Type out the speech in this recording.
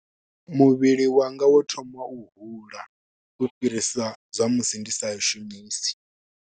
Muvhili wanga wo thoma wa u hula u fhirisa zwa musi ndi sa i shumisi.